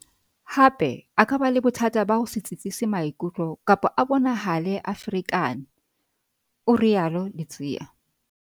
"Hape, a ka ba le bothata ba ho se tsitsise maikutlo kapa a bonahale a ferekane," o rialo Ludziya.